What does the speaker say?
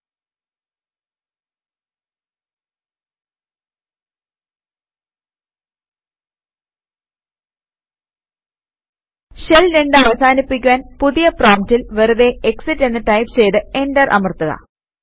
shell 2 അവസാനിപ്പിക്കുവാന് പുതിയ പ്രോംപ്റ്റിൽ വെറുതെ എക്സിറ്റ് എന്ന് ടൈപ് ചെയ്ത് എന്റർ അമർത്തുക